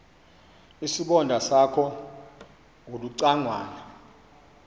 isibonda sakho ulucangwana